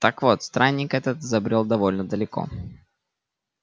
так вот странник этот забрёл довольно далеко